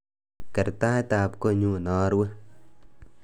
Ker taitab kotnyu narue